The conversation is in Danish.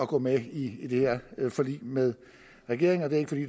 gå med i det her forlig med regeringen det